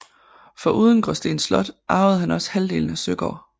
Foruden Gråsten Slot arvede han også halvdelen af Søgård